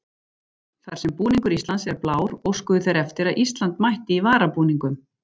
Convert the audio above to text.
Þar sem búningur Íslands er blár óskuðu þeir eftir að Ísland mætti í varabúningum.